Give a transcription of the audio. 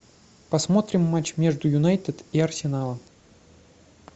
посмотрим матч между юнайтед и арсеналом